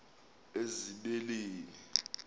ezibeleni